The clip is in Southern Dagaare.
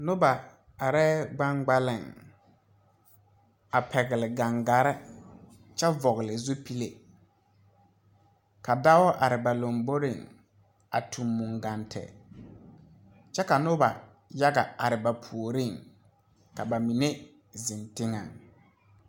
Noba arɛɛ gbaŋgbaliŋ a pɛgle gaŋgarre kyɛ vɔgle zupile ka dao are ba lomboreŋ a tuŋ mungante kyɛ ka noba yaga are ba puoriŋ ka ba mine zeŋ teŋɛŋ.